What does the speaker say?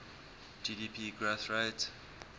gdp growth rate